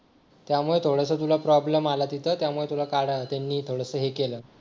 त्यामुळे थोडंसं तुला प्रॉब्लेम आला तिथं त्यामुळे तुला काढायला त्यांनी थोडंसं हे केलं